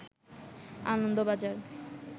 Anandabazar